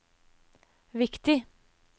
viktig